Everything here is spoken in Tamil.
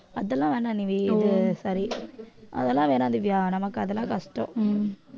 அதெல்லாம் வேணாம் நீ சரி அதெல்லாம் வேணாம் திவ்யா நமக்கு அதெல்லாம் கஷ்டம்